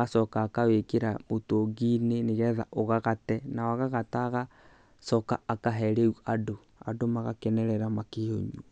agacoka akawĩkĩra mũtũngi-inĩ nĩ getha ũgagate na wagagata agacoka akahe rĩu andũ, andũ magakenerera makĩũnywa.